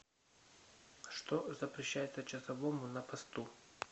что запрещается часовому на посту